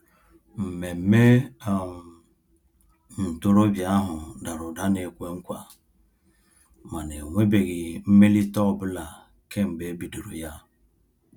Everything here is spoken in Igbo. Mmemme um ntorobịa ahụ dara ụda na-ekwe nkwa, mana enwebeghị mmelite ọ bụla kemgbe e bidoro ya.